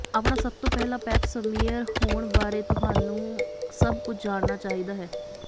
ਆਪਣਾ ਸਭ ਤੋਂ ਪਹਿਲਾਂ ਪੈਪ ਸਮੀਅਰ ਹੋਣ ਬਾਰੇ ਤੁਹਾਨੂੰ ਸਭ ਕੁਝ ਜਾਣਨਾ ਚਾਹੀਦਾ ਹੈ